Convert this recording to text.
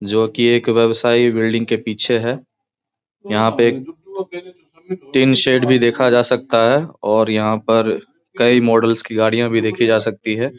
जो कि एक व्यवसाई बिल्डिंग के पीछे है यहाँ पे टीन शेड भी देखा जा सकता है और यहाँ पर कई मॉडल्स की गाड़ियां भी देखी जा सकती है ।